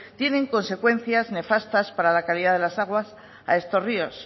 tienen consecuencias nefastas para la calidad de las aguas a estos ríos